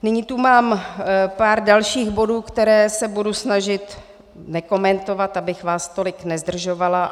Nyní tu mám pár dalších bodů, které se budu snažit nekomentovat, abych vás tolik nezdržovala.